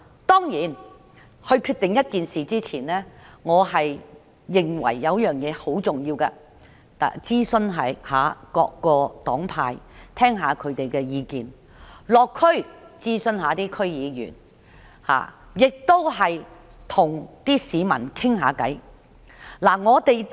當然，政府決定做一件事前，我認為必須諮詢各個黨派，以聽取他們的意見；亦應該落區諮詢區議員，以及與市民交談一下。